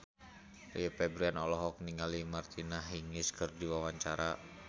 Rio Febrian olohok ningali Martina Hingis keur diwawancara